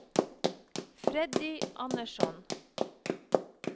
Freddy Andersson